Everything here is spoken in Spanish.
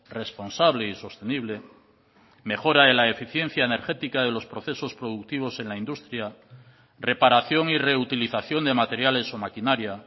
responsable y sostenible mejora en la eficiencia energética de los procesos productivos en la industria reparación y reutilización de materiales o maquinaria